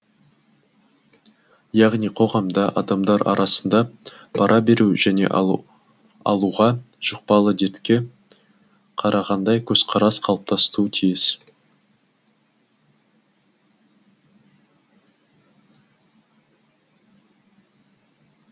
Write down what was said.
яғни қоғамда адамдар арасында пара беру және алу алуға жұқпалы дертке қарағандай көзқарас қалыптасуы тиіс